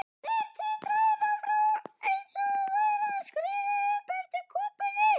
Þær titra innan frá einsog maurar skríði upp eftir kúpunni.